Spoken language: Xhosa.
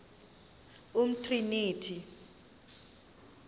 umtriniti